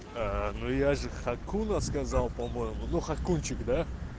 аа ну я же хакуна сказал по-моему ну хакунчик да